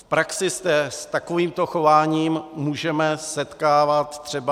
V praxi se s takovýmto chováním můžeme setkávat třeba...